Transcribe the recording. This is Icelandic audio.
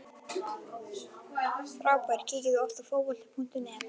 Frábær Kíkir þú oft á Fótbolti.net?